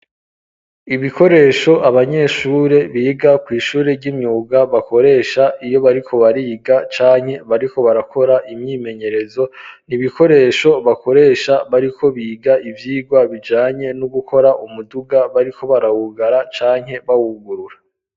Ibikoresho abanyeshuri biga ku ishuri ry'imyuga bakoresha iyo bariko bariga canke bariko barakora imyimenyerezo niibikoresho bakoresha bariko biga ivyirwa bijanye no gukora umuduga bariko barahugara canke bahugurura.